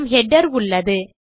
நம் ஹெடர் உள்ளது